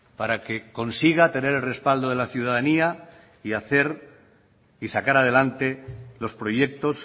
para que consiga tener el respaldo de la ciudadanía y hacer y sacar adelante los proyectos